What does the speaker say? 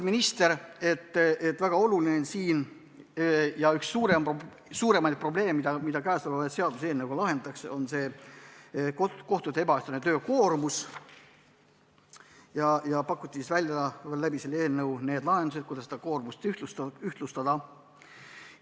Minister märkis, et üks suurimaid probleeme, mida selle eelnõuga lahendatakse, on kohtute ebaühtlane töökoormus ja nii pakutigi selle eelnõuga välja lahendused, kuidas koormust ühtlustada.